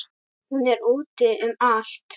Hún er úti um allt.